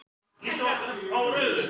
Mamma hefur ofboðslega mikið álit á þér!